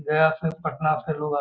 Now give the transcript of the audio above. गया से पटना से लोग अ --